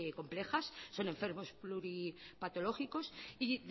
complejas son enfermos pluripatológicos y